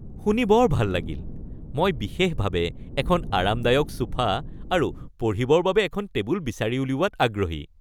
শুনি বৰ ভাল লাগিল! মই বিশেষভাৱে এখন আৰামদায়ক ছোফা আৰু পঢ়িবৰ বাবে এখন টেবুল বিচাৰি উলিওৱাত আগ্ৰহী।